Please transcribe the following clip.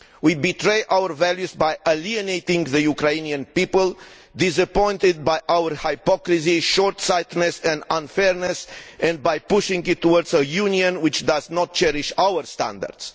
We betray our values by alienating the Ukrainian people, who are disappointed by our hypocrisy, short sightedness and unfairness, and by pushing it towards a Union which does not cherish our standards.